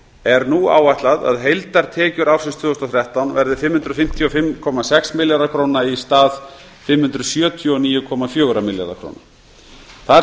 er nú áætlað að heildartekjur ársins tvö þúsund og þrettán verði fimm hundruð fimmtíu og fimm komma sex milljarðar króna í stað fimm hundruð sjötíu og níu komma fjórir milljarðar króna þar